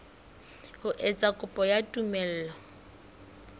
ho etsa kopo ya tumello